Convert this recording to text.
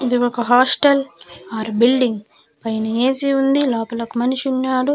ఇది ఒక hostel or building పైన ఏ_సీ వుంది లోపల ఒక మనిషి వున్నాడు.